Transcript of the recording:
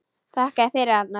Þakka þér fyrir, Arnar.